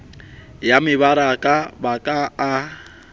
ya mebaraka ba ka a